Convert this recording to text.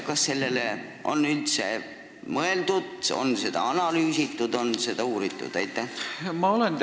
Kas sellele on üldse mõeldud, on seda analüüsitud, on seda uuritud?